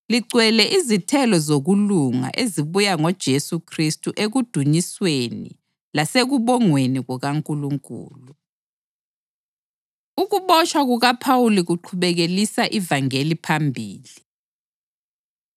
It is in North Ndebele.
ligcwele izithelo zokulunga ezibuya ngoJesu Khristu ekudunyisweni lasekubongweni kukaNkulunkulu. Ukubotshwa KukaPhawuli Kuqhubekelisa Ivangeli Phambili